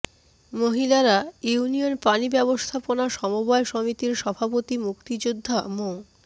Mahilara union পানি ব্যবস্থাপনা সমবায় সমিতির সভাপতি মুক্তিযোদ্ধা মো